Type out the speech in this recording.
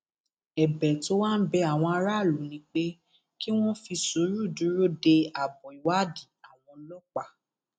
ẹbẹ tó wá ń bẹ àwọn aráàlú ni pé kí wọn fi sùúrù dúró de abọ ìwádìí àwọn ọlọpàá